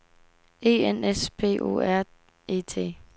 E N S P O R E T